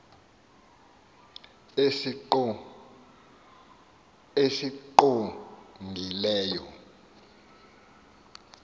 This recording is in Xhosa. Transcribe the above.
esingqongileyo